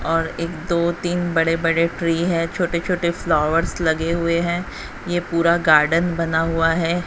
और एक दो तीन बड़े बड़े ट्री हैं छोटे छोटे फ्लावर्स लगे हुए हैं ये पूरा गार्डन बना हुआ है।